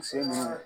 Muso ma